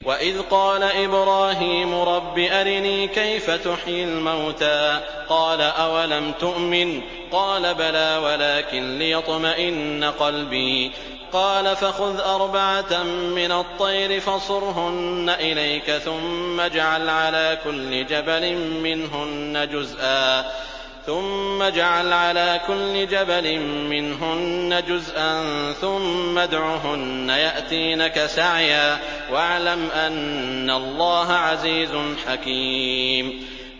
وَإِذْ قَالَ إِبْرَاهِيمُ رَبِّ أَرِنِي كَيْفَ تُحْيِي الْمَوْتَىٰ ۖ قَالَ أَوَلَمْ تُؤْمِن ۖ قَالَ بَلَىٰ وَلَٰكِن لِّيَطْمَئِنَّ قَلْبِي ۖ قَالَ فَخُذْ أَرْبَعَةً مِّنَ الطَّيْرِ فَصُرْهُنَّ إِلَيْكَ ثُمَّ اجْعَلْ عَلَىٰ كُلِّ جَبَلٍ مِّنْهُنَّ جُزْءًا ثُمَّ ادْعُهُنَّ يَأْتِينَكَ سَعْيًا ۚ وَاعْلَمْ أَنَّ اللَّهَ عَزِيزٌ حَكِيمٌ